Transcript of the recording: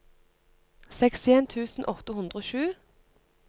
sekstien tusen åtte hundre og sju